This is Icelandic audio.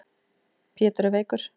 Pétur er veikur.